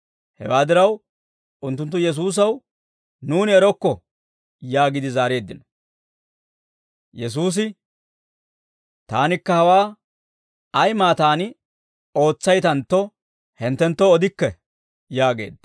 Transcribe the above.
Hewaa diraw, unttunttu Yesuusaw, «Nuuni erokko» yaagiide zaareeddino. Yesuusi, «Taanikka hawaa ay maataan ootsaytantto, hinttenttoo odikke» yaageedda.